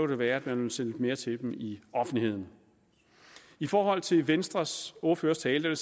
det være at man ville se lidt mere til dem i offentligheden i forhold til venstres ordførers tale vil